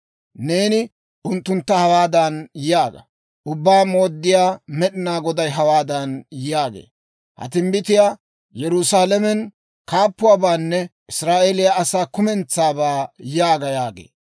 Neeni unttuntta hawaadan yaaga; ‹Ubbaa Mooddiyaa Med'inaa Goday hawaadan yaagee; «Ha timbbitii Yerusaalamen kaappuwaabaanne Israa'eeliyaa asaa kumentsabaa» yaaga› yaagee.